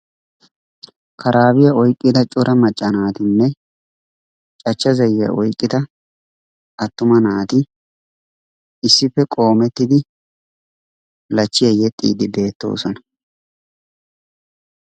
Karaabiya oyqqida cora macca naatinne cachcha zayyiya oyqqida attuma naati issippe qoomettidi lachchiya yexxiiddi beettoosona.